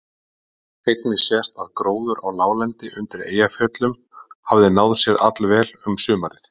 Einnig sést að gróður á láglendi undir Eyjafjöllum hafði náð sér allvel um sumarið.